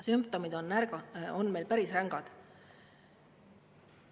Sümptomid on päris rängad.